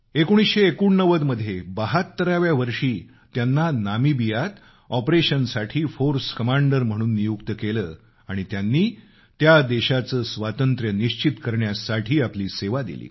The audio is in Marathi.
1989 मध्ये 72व्या वर्षी त्यांना नामिबियात ऑपरेशनसाठी फोर्स कमांडर म्हणून नियुक्त केलं आणि त्यांनी त्या देशाचं स्वातंत्र्य निश्चित करण्यासाठी आपली सेवा दिली